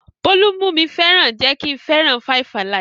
Bólú mú mi fẹ́ràn jẹ́ kí n fẹ́ràn 5-alive.